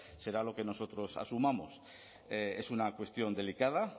será lo que nosotros asumamos es una cuestión delicada